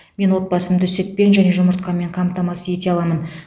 мен отбасымды сүтпен және жұмыртқамен қамтамасыз ете аламын